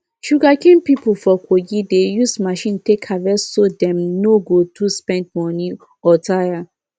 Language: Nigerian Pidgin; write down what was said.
sugarcane people for kogi dey use machine take harvest so dem no go too spend money or tire